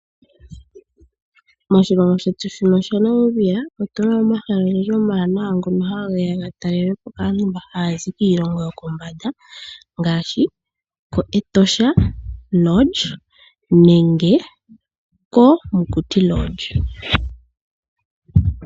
Moshilongo shetu shino shaNamibia otu na mo omahala ogendji omawanawa ngono hage ya ga talelwe po kaantu mba haya zi kiilongo yokombanda ngaashi kEtosha Lodge nenge koMokuti Lodge.